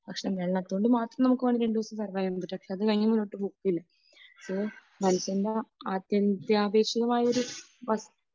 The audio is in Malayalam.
വെള്ളം കൊണ്ട് മാത്രം നമുക്ക് രണ്ടു ദിവസം കഴിയും. പക്ഷെ അതുകഴിഞ്ഞു മുന്നോട്ടു പോകില്ല. അപ്പൊ മനുഷ്യന്റെ അത്യന്താപേക്ഷിതമായൊരു വസ്തു